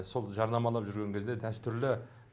сол жарнамалап жүрген кезде дәстүрлі